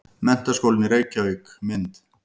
Menntaskólinn í Reykjavík- mynd.